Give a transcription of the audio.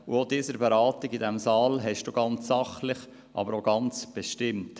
Auch die Beratungen in diesem Saal leiteten Sie sehr sachlich, aber auch sehr bestimmt.